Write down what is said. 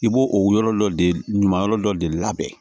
I b'o o yɔrɔ dɔ de ɲuman yɔrɔ dɔ de labɛn